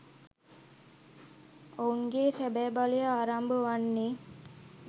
ඔවුන්ගේ සැබැ බලය ආරම්භ වන්නේ